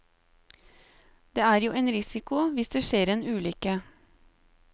Det er jo en risiko, hvis det skjer en ulykke.